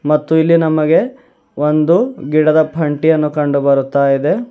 ಮತ್ತು ಇಲ್ಲಿ ನಮಗೆ ಒಂದು ಗಿಡದ ಫಂಟಿಯನ್ನು ಕಂಡು ಬರುತ್ತಾ ಇದೆ.